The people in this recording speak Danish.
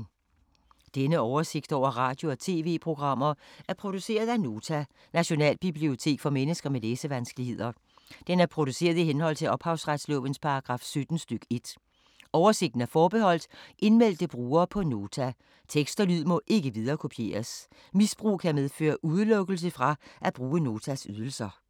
Denne oversigt over radio og TV-programmer er produceret af Nota, Nationalbibliotek for mennesker med læsevanskeligheder. Den er produceret i henhold til ophavsretslovens paragraf 17 stk. 1. Oversigten er forbeholdt indmeldte brugere på Nota. Tekst og lyd må ikke viderekopieres. Misbrug kan medføre udelukkelse fra at bruge Notas ydelser.